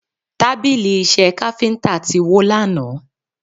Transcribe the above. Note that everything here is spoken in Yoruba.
Tábìlì Iṣẹ́ káfíńtà ti wó lánàá